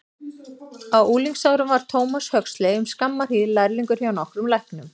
Á unglingsárum var Thomas Huxley um skamma hríð lærlingur hjá nokkrum læknum.